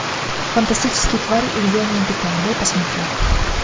фантастические твари и где они обитают дай посмотреть